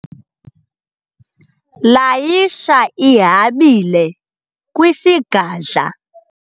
layisha ihabile kwisigadla